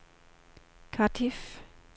Cardiff